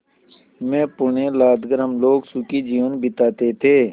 में पण्य लाद कर हम लोग सुखी जीवन बिताते थे